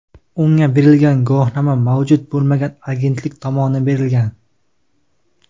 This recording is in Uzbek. unga berilgan guvohnoma mavjud bo‘lmagan agentlik tomonidan berilgan.